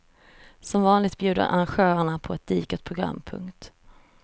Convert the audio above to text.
Som vanligt bjuder arrangörerna på ett digert program. punkt